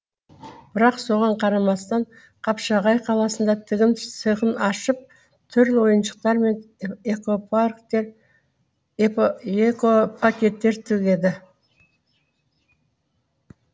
бірақ соған қарамастан қапшағай қаласында тігін цехын ашып түрлі ойыншықтар мен экопакеттер тігеді